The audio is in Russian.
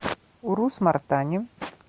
урус мартане